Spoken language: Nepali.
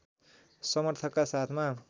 समर्थकका साथमा